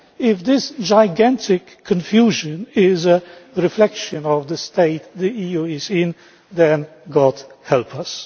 If this gigantic confusion is a reflection of the state the EU is in, then God help us!